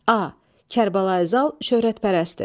A. Kərbəlayi Zal şöhrətpərəstdir.